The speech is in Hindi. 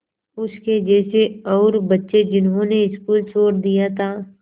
उसके जैसे और बच्चे जिन्होंने स्कूल छोड़ दिया था